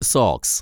socks